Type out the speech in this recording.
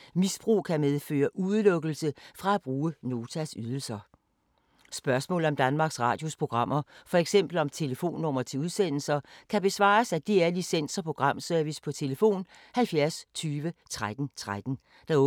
Spørgsmål om Danmarks Radios programmer, f.eks. om telefonnumre til udsendelser, kan besvares af DR Licens- og Programservice: tlf. 70 20 13 13, åbent mandag-torsdag 9.00-16.30, fredag 9.00-14.00, weekender og helligdage: lukket.